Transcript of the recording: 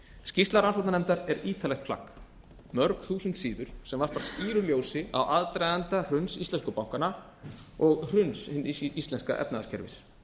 skýrsla rannsóknarnefndar er ítarlegt plagg mörg þúsund síður sem varpar skýru ljósi á aðdraganda hruns íslensku bankanna og hrun hins íslenska efnahagskerfis